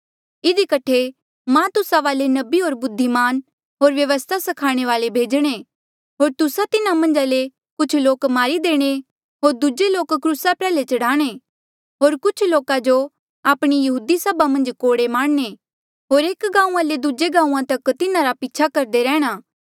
इधी कठे मां तुस्सा वाले नबी होर बुद्धिमान होर व्यवस्था स्खाणे वाल्ऐ भेजणे होर तुस्सा तिन्हा मन्झा ले कुछ लोक मारी देणे होर दूजे लोक क्रूसा प्रयाल्हे चढ़ाणें होर कुछ लोका जो आपणी यहूदी सभा मन्झ कोड़े मारणे होर एक गांऊँआं ले दूजे गांऊँआं तक तिन्हारा पीछा करदे रैंह्णां